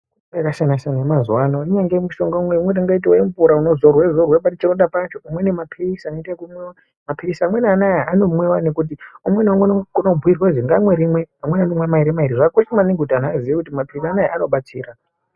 Mitombo yakasiyana siyana yemazuva ano imweni ingaite mushonga wemvura unozorwa pachironda pacho umweni mapirizi inomwiwa mapirizi mamwe anaaya inomwiwa ngekuti umwe ngaumwe anokona kubhuyirwa kuti ngaamwe kuzi ngaamwe rimwe amweni anonwa maviri maviri zvakakosha maningi kuti angu azive kuti mapirizi aua anobatsira.